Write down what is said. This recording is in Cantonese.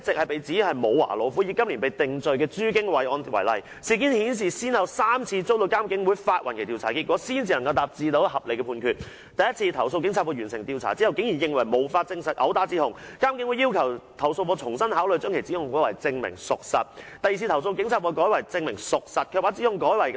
第一次，投訴警察課完成調查後竟認為無法證實毆打指控，但監警會要求投訴課重新考慮把指控改為"證明屬實"；第二次，投訴課調查後改為"證明屬實"，卻把指控改為"濫用職權"，但監警會拒絕接納；第三次，投訴課雖同意"毆打"指控，但認為證據不足，建議列為"未能完全證明屬實"。